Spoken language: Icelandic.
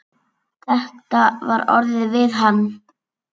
Þetta var orðað við hann.